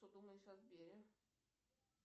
что думаешь о сбере